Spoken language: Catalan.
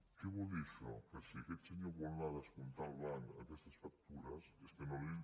què vol dir això que si aquest senyor vol anar a descomptar al banc aquestes factures és que no li